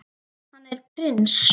Hann er prins.